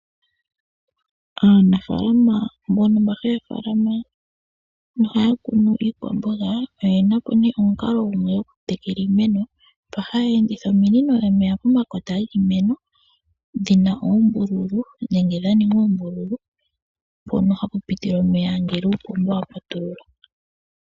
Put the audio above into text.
Aanafaalama mbono mba haya faalama nohaya kunu iikwamboga, oyena po nee omukalo gumwe ngo goku tekela iimeno, mpa haya enditha ominino omeya pomakota giimeno, dhina oombululu nenge dhaninga oombululu mpono hapu piti omeya ngele uupomba wa patululwa.